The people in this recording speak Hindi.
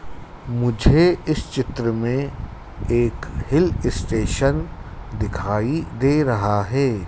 मुझे इस चित्र में एक हिल स्टेशन दिखाई दे रहा है।